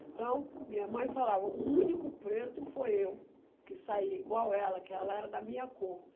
Então, minha mãe falava, o único preto foi eu, que saía igual ela, que ela era da minha cor.